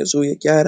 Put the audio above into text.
amfani ne yayi